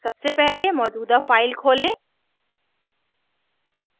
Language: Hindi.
सबसे पहले मौजूदा file खोलें